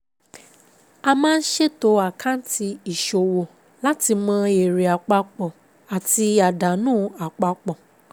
A máa ń ṣètò Àkáǹtì ìṣòwò láti mọ èrè àpapọ̀ àti àdánù àpapọ̀.